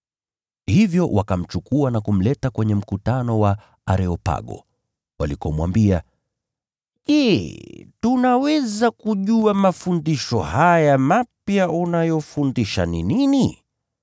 Hivyo wakamchukua na kumleta kwenye mkutano wa Areopago, walikomwambia, “Je, tunaweza kujua mafundisho haya mapya unayofundisha ni nini?